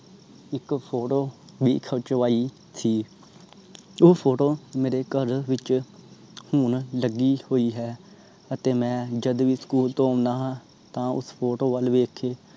ਇਕ photo ਵੀ ਖਿਚਵਾਈ ਸੀ ਉਹ photo ਮੇਰੇ ਘਰ ਵਿਚ ਹੁਣ ਲੱਗੀ ਹੋਇ ਹੈ। ਅਤੇ ਮੈਂ ਜਦੋ ਵੀ SCHOOL ਤੋਂ ਓਨਾ ਹਾਂ। ਤਾਂ ਉਸ photo ਬਲ ਵੇਖ ਕੇ